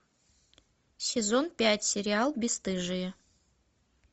сезон пять сериал бесстыжие